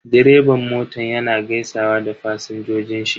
Direban motan yana gaisawa da fasinjojin shi.